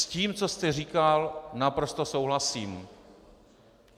S tím, co jste říkal, naprosto souhlasím.